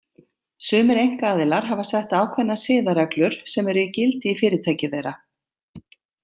Sumir einkaaðilar hafa sett ákveðnar siðareglur sem eru í gildi í fyrirtæki þeirra.